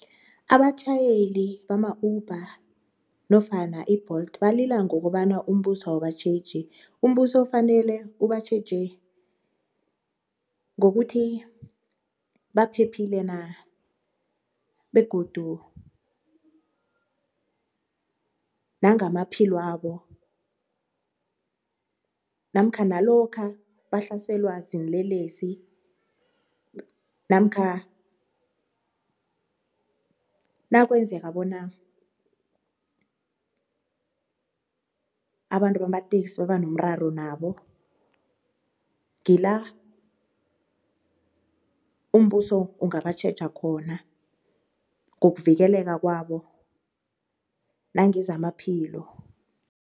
Abatjhayeli bama-Uber nofana i-Bolt balila ngokobana umbuso awubatjheji umbuso fanele ubatjheje ngokuthi baphephile na? Begodu nangamaphilwabo namkha nalokha bahlaselwa ziinlelesi namkha nakwenzeka bona abantu bamateksi baba nomraro nabo, ngila umbuso ungabatjheja khona ngokuvikeleka kwabo nangezamaphilo.